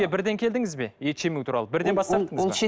бірден келдіңіз бе ет жемеу туралы бірден